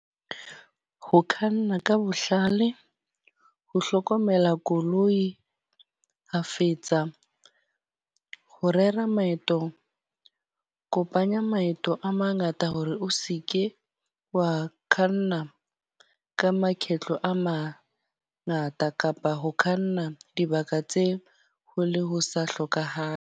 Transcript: Ho khanna ka bohlale. Ho hlokomela koloi kgafetsa. Ho rera maeto, kopanya maeto a mangata hore o seke wa khanna ka makgetlo a ma ngata. Kapa ho kganna dibaka tse ho le ho sa hlokahale.